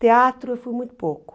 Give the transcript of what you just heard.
Teatro eu fui muito pouco.